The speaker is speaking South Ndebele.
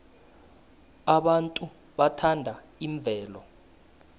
abantu bathanda imvelo